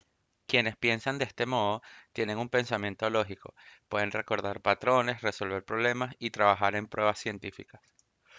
quienes piensan de este modo tienen un pensamiento lógico pueden recordar patrones resolver problemas y trabajar en pruebas científicas